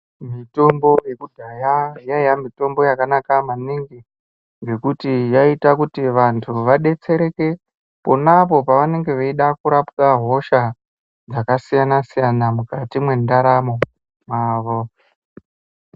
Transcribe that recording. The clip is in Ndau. Mitombo yekudhaya mitombo yanga yakanaka maningi nekuti yaita kuti vantu vadetsereke ponapo pavanenge veida kurapwa hosha dzakasiyana siyana mukati mwendaramo mwavo.